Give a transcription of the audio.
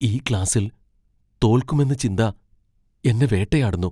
ഈ ക്ലാസ്സിൽ തോൽക്കുമെന്ന ചിന്ത എന്നെ വേട്ടയാടുന്നു.